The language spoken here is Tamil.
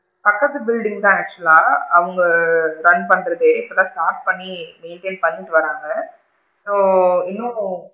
பக்கத்துக்கு building தான் actual லா run பண்றதே இப்ப தான் start பண்ணி, maintain பண்ணிட்டு வராங்க so இன்னும்,